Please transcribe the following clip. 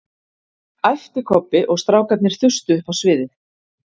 æpti Kobbi og strákarnir þustu upp á sviðið